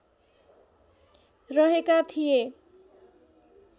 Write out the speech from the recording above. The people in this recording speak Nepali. रहेका थिए।